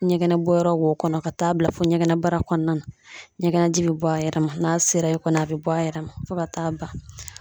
Ɲɛgɛnɛ bɔ yɔrɔ wo kɔnɔ ka taa bila fo ɲɛgɛnɛbara kɔnɔna na. Ɲɛgɛnji bɛ bɔ a yɛrɛ ma, n'a sera yen kɔni a bɛ bɔ a yɛrɛ ma fo ka taa ban .